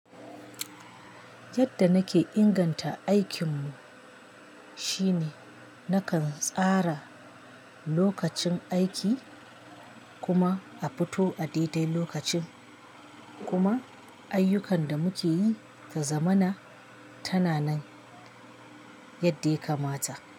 Yadda nake inganta aikinmu shine nakan tsara lokacin aiki kuma a fito a daidai lokacin kuma ayyukan da muke yi ta zamana tana nan yadda ya kamata.